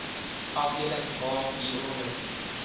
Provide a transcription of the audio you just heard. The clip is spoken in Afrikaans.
afdeling h hieronder